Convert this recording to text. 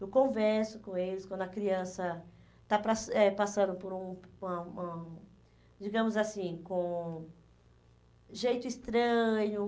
Eu converso com eles quando a criança está pas eh passando por um por uma uma, digamos assim, com jeito estranho.